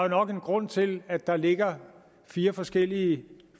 nok en grund til at der ligger fire forskellige